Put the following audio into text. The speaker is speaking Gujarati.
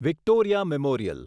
Victoria memorial